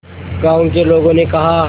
गांव के लोगों ने कहा